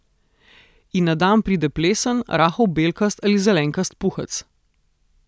In na dan pride plesen, rahel belkast ali zelenkast puhec.